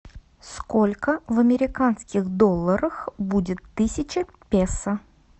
сколько в американских долларах будет тысяча песо